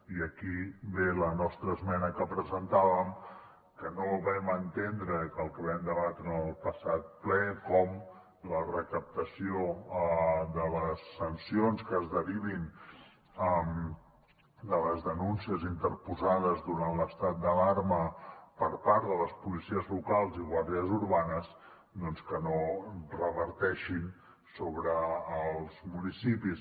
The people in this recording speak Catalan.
i aquí ve la nostra esmena que presentàvem que no vam entendre que el que vam debatre en el passat ple com la recaptació de les sancions que es derivin de les denúncies interposades durant l’estat d’alarma per part de les policies locals i guàrdies urbanes doncs que no reverteixin sobre els municipis